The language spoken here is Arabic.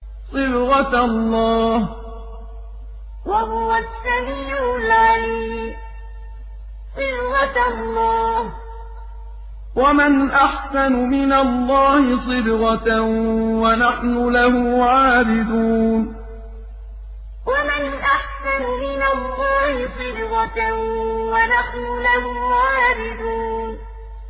صِبْغَةَ اللَّهِ ۖ وَمَنْ أَحْسَنُ مِنَ اللَّهِ صِبْغَةً ۖ وَنَحْنُ لَهُ عَابِدُونَ صِبْغَةَ اللَّهِ ۖ وَمَنْ أَحْسَنُ مِنَ اللَّهِ صِبْغَةً ۖ وَنَحْنُ لَهُ عَابِدُونَ